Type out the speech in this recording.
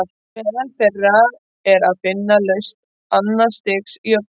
Meðal þeirra er að finna lausn annars stigs jöfnu.